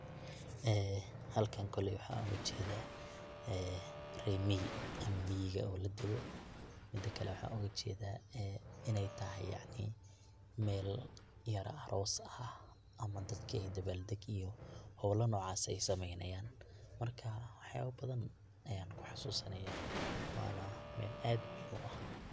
ee halkan koley waxan oga jedaa rer miyi ama miyiga oo deego, midakale waxan oga jeeda ee inay tahay yacni mel yar aroos ah ama dadka ay dabal degayaan, howla nocas ah aya sameynayan, marka waxaba badan ayan kuxasusanaya wana waa mel aad muhim u ah